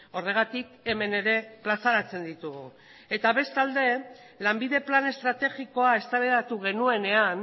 horregatik hemen ere plazaratzen ditugu eta bestalde lanbide plan estrategikoa eztabaidatu genuenean